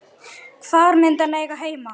Hvar myndi hann eiga heima?